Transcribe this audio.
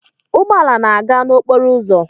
Ụgbọ ala na-aga n'okporo ụzọ